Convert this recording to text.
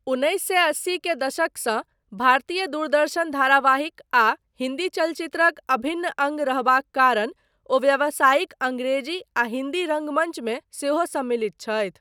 उन्नैस सए अस्सी के दशकसँ भारतीय दूरदर्शन धारावाहिक आ हिन्दी चलचित्रक अभिन्न अङ्ग रहबाक कारण, ओ व्यावसायिक अङ्ग्रेजी आ हिन्दी रङ्गमञ्च मे सेहो सम्मिलित छथि।